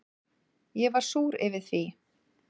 Ég var súr yfir því.